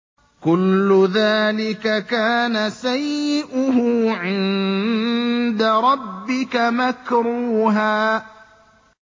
كُلُّ ذَٰلِكَ كَانَ سَيِّئُهُ عِندَ رَبِّكَ مَكْرُوهًا